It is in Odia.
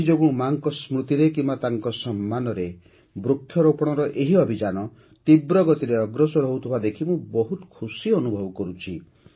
ଏଥିଯୋଗୁଁ ମା'ଙ୍କ ସ୍ମୃତିରେ କିମ୍ବା ତାଙ୍କ ସମ୍ମାନରେ ବୃକ୍ଷରୋପଣର ଏହି ଅଭିଯାନ ତୀବ୍ର ଗତିରେ ଅଗ୍ରସର ହେଉଥିବା ଦେଖି ମୁଁ ବହୁତ ଖୁସି ଅନୁଭବ କରୁଛି